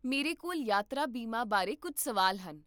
ਮੇਰੇ ਕੋਲ ਯਾਤਰਾ ਬੀਮੇ ਬਾਰੇ ਕੁੱਝ ਸਵਾਲ ਹਨ